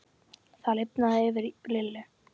Það lifnaði yfir Lillu.